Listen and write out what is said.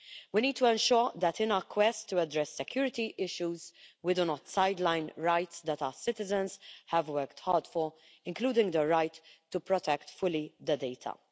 We need to ensure that in our quest to address security issues, we do not sideline rights that our citizens have worked hard for, including the right to protect fully the data.